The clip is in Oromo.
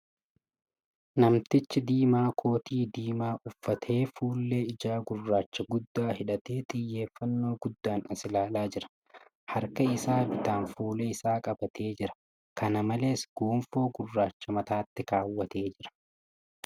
Namtichi diimaa kootii diinaa uffatee fuullee ijaa gurraacha guddaa hidhatee xiyyeeffannoo guddaan as ilaalaa jira. Harka isaa bitaan fuula isaa qabatee jira. Kana maoees, gonfoo gurraacha mataatti keewwatee jira .